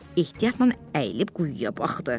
Ehtiyatla əyilib quyuya baxdı.